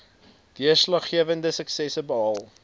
deurslaggewende suksesse behaal